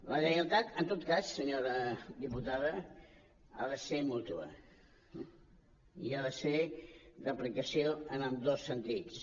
la lleialtat en tot cas senyora diputada ha de ser mútua i ha de ser d’aplicació en ambdós sentits